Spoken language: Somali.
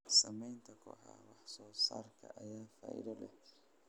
Sameynta kooxaha wax soo saarka ayaa faa'iido leh.